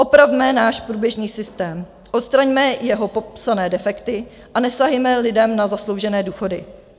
Opravme náš průběžný systém, odstraňme jeho popsané defekty a nesahejme lidem na zasloužené důchody.